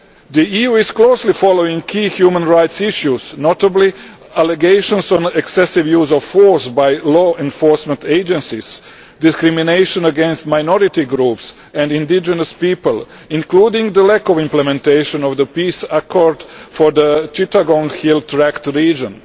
The EU is closely following key human rights issues, notably allegations of excessive use of force by law enforcement agencies and discrimination against minority groups and indigenous people, including the lack of implementation of the peace accord for the Chittagong Hill Tracts region.